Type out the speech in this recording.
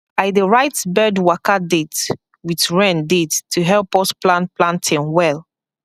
i dey write bird waka date with rain date to help us plan planting well